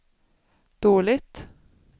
dåligt